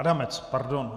Adamec. Pardon.